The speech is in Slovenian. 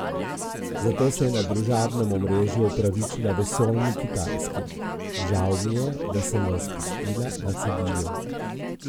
Zato se je na družabnem omrežju opravičila vesoljni Kitajski: "Žal mi je, da sem vas pustila na cedilu.